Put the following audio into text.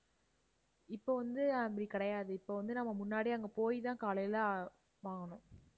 இப்ப வந்து அப்படி கிடையாது. இப்ப வந்து நம்ம முன்னாடியே அங்க போய் தான் காலையில வாங்கணும்.